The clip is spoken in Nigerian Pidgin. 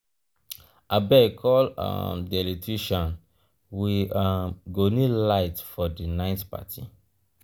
abeg call um the electrician we um go need light for the um night party.